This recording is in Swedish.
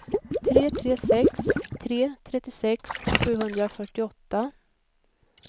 tre tre sex tre trettiosex sjuhundrafyrtioåtta